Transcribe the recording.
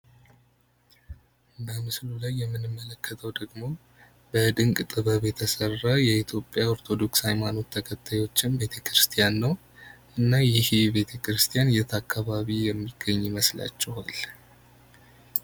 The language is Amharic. በምስሉ ላይ የምንመለከተው ደግም በድንቅ ጥበብ የተሰራ የኢትዮጵያ ኦርቶዶክስ ሃይማኖት ተከታዮች ቤተክርስቲያን ነው። እና ይህ ቤተክርስቲያን የት አካባቢ የሚገኝ ይመስላችኋል?